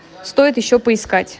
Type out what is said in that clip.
стоит ещё поискать